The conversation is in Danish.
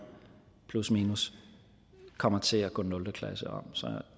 plusminus kommer til at gå nul klasse om så